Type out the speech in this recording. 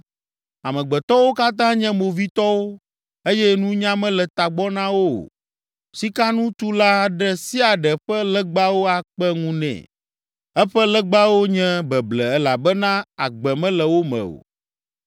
“Amegbetɔwo katã nye movitɔwo eye nunya mele tagbɔ na wo o. Sikanutula ɖe sia ɖe ƒe legbawo akpe ŋu nɛ. Eƒe legbawo nye beble elabena agbe mele wo me o.